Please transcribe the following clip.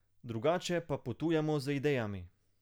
Drugače pa potujemo z idejami.